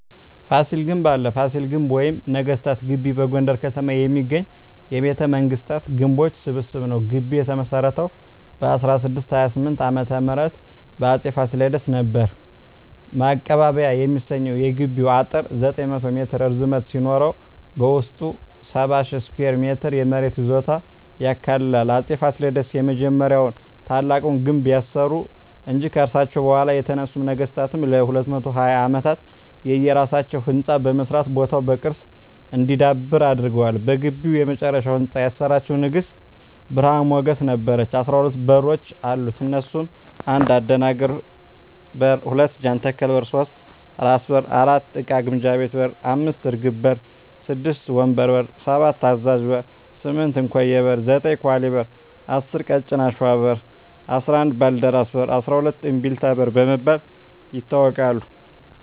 ፋሲል ግንብ አለ ፋሲል ግቢ ወይም ነገስታት ግቢ በጎንደር ከተማ የሚገኝ የቤተ መንግስታት ግንቦች ስብስብ ነዉ ግቢዉ የተመሰረተዉ በ1628ዓ.ም በአፄ ፋሲለደስ ነበር ማቀባበያ የሚሰኘዉ የግቢዉ አጥር 900ሜትር ርዝመት ሲኖረዉበዉስጡ 70,000ስኩየር ሜትር የመሬት ይዞታ ያካልላል አፄ ፋሲለደስ የመጀመሪያዉና ታላቁን ግንብ ያሰሩ እንጂ ከርሳቸዉ በኋላ የተነሱ ነገስታትም ለ220ዓመታት የየራሳቸዉ ህንፃ በመስራት ቦታዉ በቅርስ እንዲዳብር አድርገዋል በግቢዉ የመጨረሻዉን ህንፃ ያሰራቸዉን ንግስት ብርሀን ሞገስ ነበረች 12በሮች አሉት እነሱም 1. አደናግር በር 2. ጃንተከል በር 3. ራስ በር 4. እቃ ግምጃ ቤት 5. እርግብ በር 6. ወንበር በር 7. አዛዥ በር 8. እንኮዬ በር 9. ኳሊ በር 10. ቀጭን አሽዋ በር 11. ባልደራስ በር 12. እምቢልታ በር በመባል ይታወቃሉ